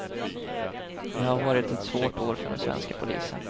Det har varit ett svart år för den svenska polisen.